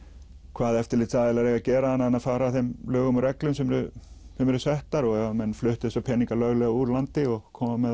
hvað eftirlitsaðilar eiga að gera annað en að fara að þeim lögum og reglum sem eru settar og ef að menn fluttu þessa peninga löglega úr landi og komu með